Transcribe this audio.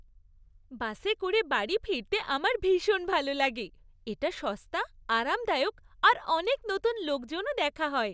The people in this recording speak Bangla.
বাসে করে বাড়ি ফিরতে আমার ভীষণ ভালো লাগে। এটা সস্তা, আরামদায়ক আর অনেক নতুন লোকজনও দেখা হয়।